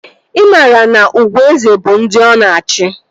Ị maara na ugwu eze bụ ndị ọ na-achị?